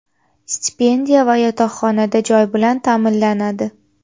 stipendiya va yotoqxonada joy bilan taʼminlanadi.